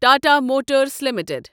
Tata motors limited